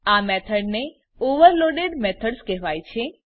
આ મેથડ ને overloaded methods કહેવાય છે